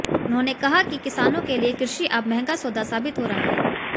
उन्होंने कहा कि किसानों के लिये कृषि अब महंगा सौदा साबित हो रहा है